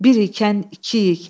Bir ikən ikiyik.